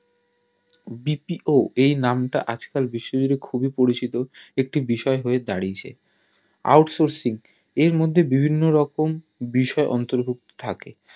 BPO এই নাম তা আজ কাল বিশ্ব জুড়ে খুব পরিচিত একটি বিষয় হয়ে দাঁড়িয়েছে out sourcing এর মধ্যে বিভিন্ন রকম বিষয় অন্তর্ভুক্ত থাকে